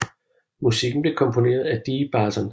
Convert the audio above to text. Musikken blev komponeret af Dee Barton